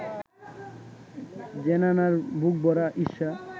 জেনানার বুকভরা ঈর্ষা